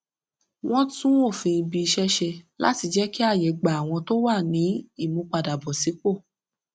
wọn tún òfin ibi iṣẹ ṣe láti jẹ kí àyè gba àwọn tó wà ní ìmúpadàbọsípò